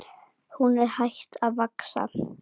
Hún er hætt að vaxa!